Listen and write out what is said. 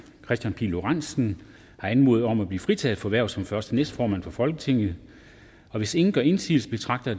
kristian pihl lorentzen har anmodet om at blive fritaget for hvervet som første næstformand for folketinget hvis ingen gør indsigelse betragter